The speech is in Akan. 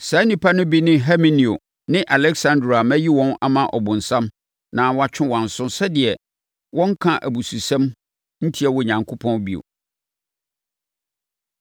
Saa nnipa no bi ne Himeneo ne Aleksandro a mayi wɔn ama Ɔbonsam na wɔatwe wɔn aso sɛdeɛ wɔrenka abususɛm ntia Onyankopɔn bio.